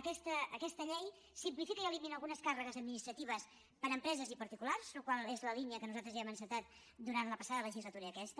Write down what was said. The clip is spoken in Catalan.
aquesta llei simplifica i elimina algunes càrregues administratives per a empreses i particulars la qual cosa és la línia que nosaltres ja hem encetat durant la passada legislatura i aquesta